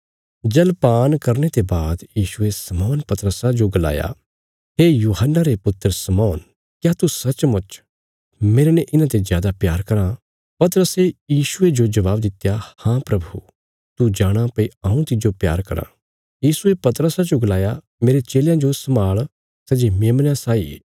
जलपान करने ते बाद यीशुये शमौन पतरसा जो गलाया हे यूहन्ना रे पुत्र शमौन क्या सच्चमुच तू मेरने इन्हांते जादा प्यार कराँ पतरसे यीशुये जो जवाव दित्या हाँ प्रभु तू जाणाँ भई हऊँ तिज्जो प्यार करां यीशुये पतरसा जो गलाया मेरे चेलयां जो सम्भाल़ सै जे मेमनयां साई ये